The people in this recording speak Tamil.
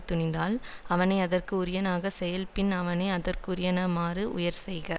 துணிந்தால் அவனை அதற்கு உரியனாக செயல் பின் அவனை அதற்குரியனாமாறு உயரச்செய்க